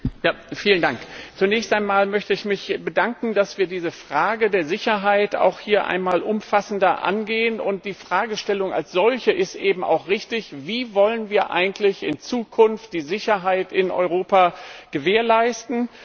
Herr Präsident! Zunächst einmal möchte ich mich bedanken, dass wir diese Frage der Sicherheit hier einmal umfassender angehen, und die Fragestellung also solche ist eben auch richtig Wie wollen wir eigentlich in Zukunft die Sicherheit in Europa gewährleisten?